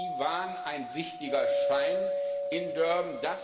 Sie waren ein wichtiger Stein in Durban.